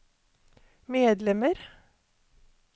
medlemmer